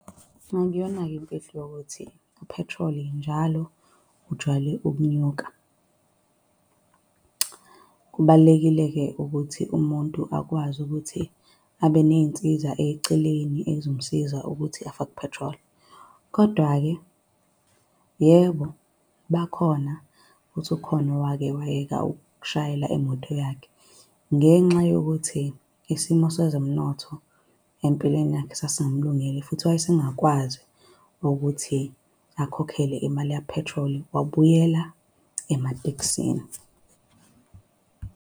Akuyona-ke imfihlo yokuthi uphethroli njalo ujwayele ukunyuka. Kubalulekile-ke ukuthi umuntu akwazi ukuthi abe ney'nsiza eceleni ezomsiza ukuthi afake uphethroli. Kodwa-ke yebo, bakhona, futhi ukhona owake wayeka ukushayela imoto yakhe, ngenxa yokuthi isimo sezomnotho empilweni yakhe sasingamlungele, futhi wayesengakwazi ukuthi akhokhele imali kaphethroli. Wabuyela ematekisini.